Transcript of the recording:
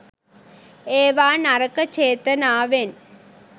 ඒවා නරක චේතනාවෙන්